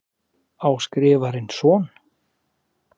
Á Skrifarinn son?